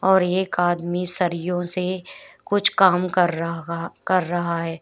और एक आदमी सरियों से कुछ काम कर रहा कर रहा है।